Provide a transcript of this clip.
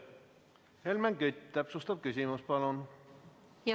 Helmen Kütt, täpsustav küsimus palun!